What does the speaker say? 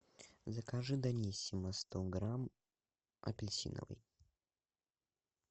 закажи даниссимо сто грамм апельсиновый